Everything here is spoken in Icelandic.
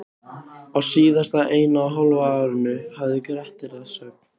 Á síðasta eina og hálfa árinu hafði Grettir að sögn